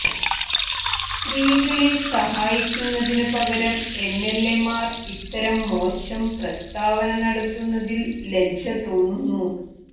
സ്ത്രീകളെ സഹായിക്കുന്നതിനുപകരം എംഎൽഎമാർ ഇത്തരം മോശം പ്രസ്താവന നടത്തുന്നതിൽ ലജ്ജ തോന്നുന്നു